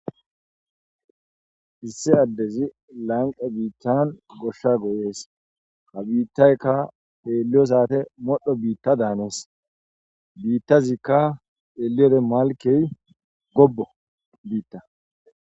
Issi addezi lanqe biittan goshsha goyees ha biittaykka heelliyo saate modho biitta daanees biittazikka eliere malkey gobo biitta